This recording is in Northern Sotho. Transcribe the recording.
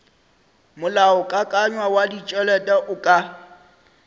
molaokakanywa wa ditšhelete o ka